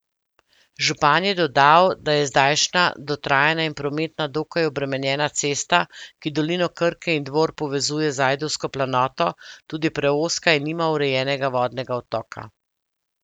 Župan je dodal, da je zdajšnja dotrajana in prometno dokaj obremenjena cesta, ki dolino Krke in Dvor povezuje z Ajdovsko planoto, tudi preozka in nima urejenega vodnega odtoka.